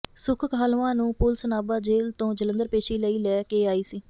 ਸੁੱਖ ਕਾਹਲਵਾਂ ਨੂੰ police Nabha jail ਤੋਂ ਜਲੰਧਰ ਪੇਸ਼ੀ ਲਈ ਲੈ ਕੇ ਆਈ ਸੀ